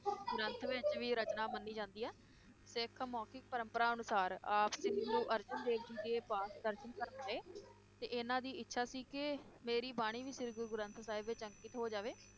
ਗ੍ਰੰਥ ਵਿਚ ਵੀ ਰਚਨਾ ਮੰਨੀ ਜਾਂਦੀ ਹੈ ਤੇ ਇਕ ਮੌਖਿਕ ਪ੍ਰੰਪਰਾ ਅਨੁਸਾਰ ਆਪ ਜੀ ਨੂੰ ਅਰਜਨ ਦੇਵ ਜੀ ਦੇ ਪਾਸ ਦਰਸ਼ਨ ਕਰਨ ਆਏ ਤੇ ਇਹਨਾਂ ਦੀ ਇੱਛਾ ਸੀ ਕਿ ਮੇਰੀ ਬਾਣੀ ਵੀ ਸ੍ਰੀ ਗੁਰੂ ਗ੍ਰੰਥ ਸਾਹਿਬ ਵਿਚ ਅੰਕਿਤ ਹੋ ਜਾਵੇ